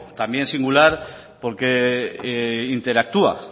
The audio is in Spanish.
también singular porque interactúa